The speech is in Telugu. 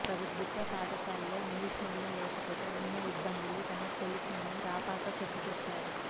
ప్రభుత్వ పాఠశాలల్లో ఇంగ్లీష్ మీడియం లేకపోతే ఉన్న ఇబ్బందులు తనకు తెలుసునని రాపాక చెప్పుకొచ్చారు